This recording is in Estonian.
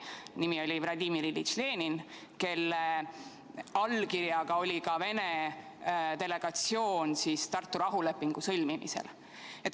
Tema nimi oli Vladimir Iljitš Lenin, kelle allkirjaga oli ka Vene delegatsioon Tartu rahulepingu sõlmimisel.